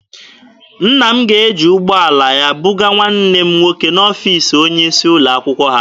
Nna m ga-eji ụgbọala ya bugaa nwanne m nwoke n'ọfiisi onye isi ụlọ akwụkwọ ha.